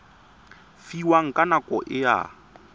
fiwang ka nako e a